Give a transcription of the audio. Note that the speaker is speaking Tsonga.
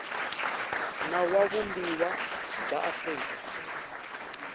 nawu wa vumbiwa bya afrika